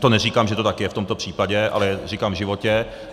To neříkám, že to tak je v tomto případě, ale říkám v životě.